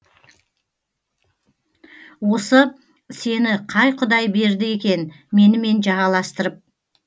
осы сені қай құдай берді екен менімен жағаластырып